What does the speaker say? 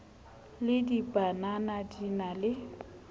le dibanana di na le